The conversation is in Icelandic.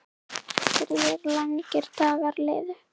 Þrír langir dagar liðu.